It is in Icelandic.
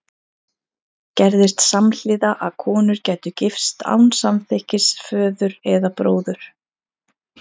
Gerðist samhliða að konur gætu gifst án samþykkis föður eða bróður?